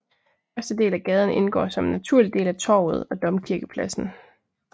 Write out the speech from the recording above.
Første del af gaden indgår som en naturlig del af Torvet og domkirkepladsen